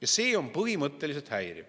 Ja see on põhimõtteliselt häiriv.